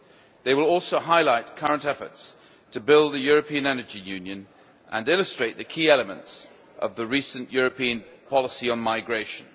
They will also highlight current efforts to build a European Energy Union and illustrate the key elements of the recent European policy on migration.